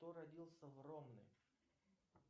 кто родился в ромны